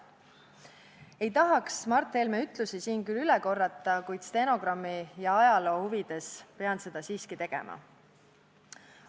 Ei tahaks Mart Helme ütlusi siin küll korrata, kuid stenogrammi ja ajaloo huvides pean seda siiski tegema.